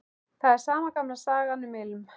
Það er sama gamla sagan, um ilm